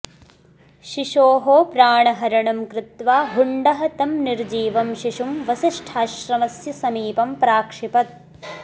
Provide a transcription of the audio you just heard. शिशोः प्राणहरणं कृत्वा हुण्डः तं निर्जीवं शिशुं वसिष्ठाश्रमस्य समीपं प्राक्षिपत्